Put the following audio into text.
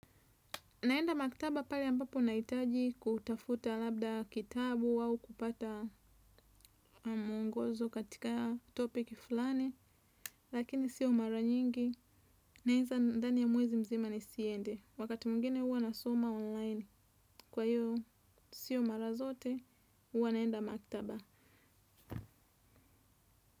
Naenda makitaba pale ambapo naitaji kutafuta labda kitabu au kupata mwongozo katika topic fulani, lakini sio mara nyingi, naeza ndani ya mwezi mzima ni siende, wakati mwingine huwa nasoma online, kwa hiyo siyo mara zote, huwa naenda maktaba.